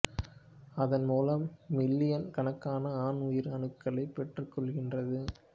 அதன் மூலம் மில்லியன் கணக்கான ஆண் உயிர் அணுக்களைக் பெற்றுக் கொள்கின்றது